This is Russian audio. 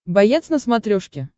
боец на смотрешке